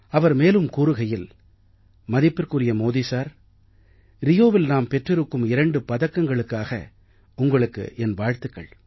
அவர் மேலும் கூறுகையில் மதிப்பிற்குரிய மோதி சார் ரியோவில் நாம் பெற்றிருக்கும் 2 பதக்கங்களுக்காக உங்களுக்கு என் வாழ்த்துக்கள்